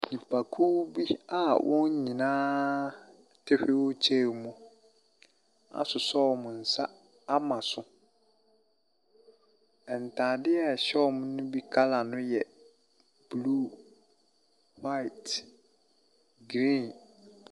Nnipakuo bi a wɔn nyinaa te wheelchair mu asosɔ wɔn nsa ama so. Ntadeɛ a ɛhyɛ wɔn no bi colour no yɛ blue, white, green.